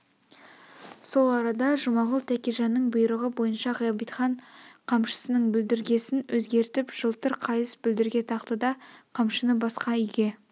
сол арада жұмағұл тәкежанның бұйрығы бойынша ғабитхан қамшысының бүлдіргесн өзгертіп жылтыр қайыс бүлдірге тақты да қамшыны басқа үйге